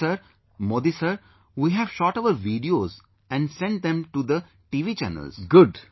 We sir, Modi sir, we have shot our videos, and sent them to the TV channels